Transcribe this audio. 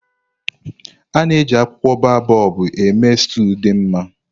A na-eji akwụkwọ baobobu eme stúu dị mma.